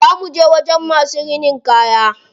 Za muje wajen masu rinin kaya.